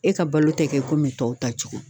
E ka balo tɛ kɛ komi tɔw ta cogo